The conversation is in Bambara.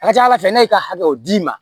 A ka ca ala fɛ ne y'i ka hakɛw d'i ma